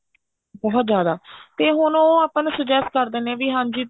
ਬਹੁਤ ਜਿਆਦਾ ਤੇ ਹੁਣ ਉਹ ਆਪਾਂ ਨੂੰ suggest ਕਰਦੇ ਨੇ ਵੀ ਹਾਂਜੀ